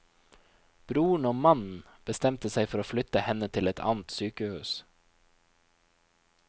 Broren og mannen bestemte seg for å flytte henne til et annet sykehus.